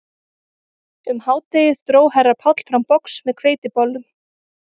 Um hádegið dró herra Páll fram box með hveitibollum